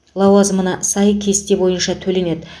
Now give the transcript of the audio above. лауазымына сай кесте бойынша төленеді